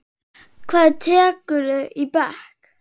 Hvað tekurðu í bekk?